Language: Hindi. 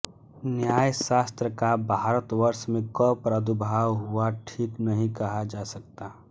न्यायशास्त्र का भारतवर्ष में कब प्रादुर्भाव हुआ ठीक नहीं कहा जा सकता